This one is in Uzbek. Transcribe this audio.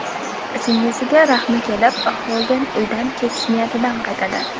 Singlisiga rahmi kelib, Xolden uydan ketish niyatidan qaytadi.